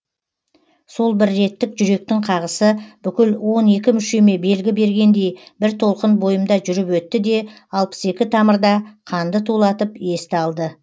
сол бір реттік жүректің қағысы бүкіл он екі мүшеме белгі бергендей бір толқын бойымда жүріп өтті де алпыс екі тамырда қанды тулатып есті алды